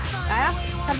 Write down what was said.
þá